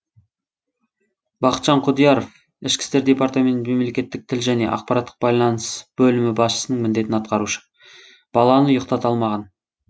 бақытжан құдияров ішкі істер департаменті мемлекеттік тіл және ақпараттық байланыс бөлімі басшысының міндетін атқарушы баланы ұйықтата алмаған